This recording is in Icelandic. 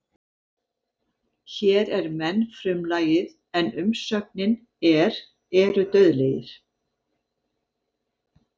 Hér er menn frumlagið en umsögnin er eru dauðlegir.